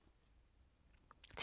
TV 2